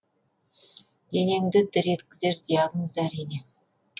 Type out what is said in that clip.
денеңді дір еткізер диагноз әрине